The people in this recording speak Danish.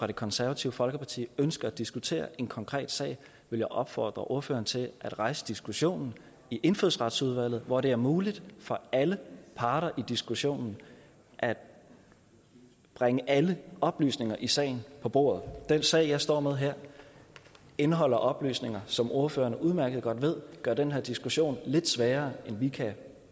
det konservative folkeparti ønsker at diskutere en konkret sag vil jeg opfordre ordføreren til at rejse diskussionen i indfødsretsudvalget hvor det er muligt for alle parter i diskussionen at bringe alle oplysninger i sagen på bordet den sag jeg står med her indeholder oplysninger som ordføreren udmærket godt ved gør den her diskussion lidt sværere end vi kan